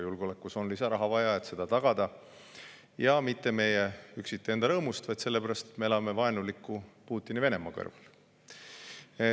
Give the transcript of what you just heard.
Julgeolekusse on lisaraha vaja, et seda tagada, ja mitte üksiti meie enda rõõmuks, vaid sellepärast, et me elame vaenuliku Putini Venemaa kõrval.